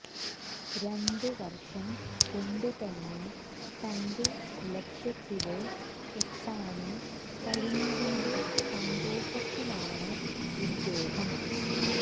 ഒരു വര്ഷം കൊണ്ടുതന്നെ തന്റെ ലക്ഷ്യത്തില് എത്താന് കഴിഞ്ഞതിന്റെ സന്തോഷത്തിലാണ് ഇദ്ദേഹം